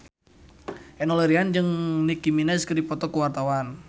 Enno Lerian jeung Nicky Minaj keur dipoto ku wartawan